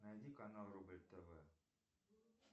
найди канал рубль тв